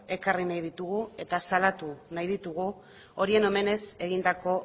ekarri nahi ditugu eta salatu nahi ditugu horien omenez egindako